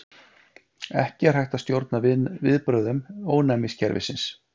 Ekki er hægt að stjórna viðbrögðum ónæmiskerfisins.